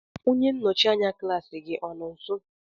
onye nnọchi anya klaasị gị anọ nso?